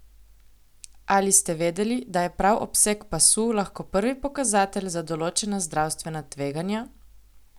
Ali ste vedeli, da je prav obseg pasu lahko prvi pokazatelj za določena zdravstvena tveganja?